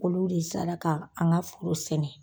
Olu de sara k' an ka foro sɛnɛ.